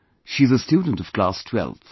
She is a student of class 12th